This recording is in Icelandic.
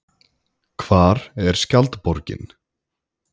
Hvar er skjaldborgin?